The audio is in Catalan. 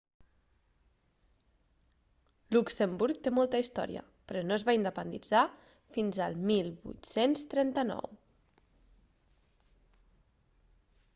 luxemburg té molta història però no es va independitzar fins al 1839